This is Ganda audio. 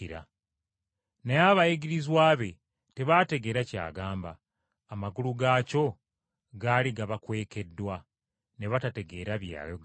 Naye abayigirizwa be tebaategeera ky’agamba, amakulu gaakyo gaali gabakwekeddwa, ne batategeera bye yayogera.